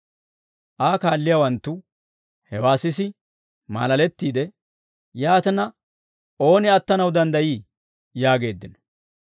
Aa kaalliyaawanttu hewaa sisi maalalettiide, «Yaatina, ooni attanaw danddayii?» yaageeddino.